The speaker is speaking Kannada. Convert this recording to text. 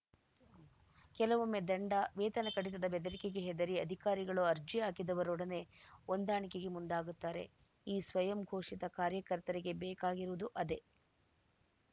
ಕೆಲವೊಮ್ಮೆ ದಂಡ ವೇತನ ಕಡಿತದ ಬೆದರಿಕೆಗೆ ಹೆದರಿ ಅಧಿಕಾರಿಗಳು ಅರ್ಜಿ ಹಾಕಿದವರೊಡನೆ ಹೊಂದಾಣಿಕೆಗೆ ಮುಂದಾಗುತ್ತಾರೆ ಈ ಸ್ವಯಂ ಘೋಷಿತ ಕಾರ್ಯಕರ್ತರಿಗೆ ಬೇಕಾಗಿರುವುದು ಅದೇ